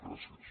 gràcies